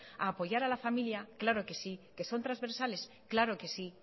a apoyar a la familia claro que sí que son trasversales claro que sí